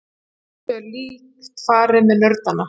Þessu er líkt farið með nördana.